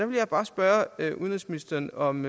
vil jeg bare spørge udenrigsministeren om